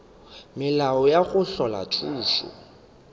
melao ya go hlola khutšo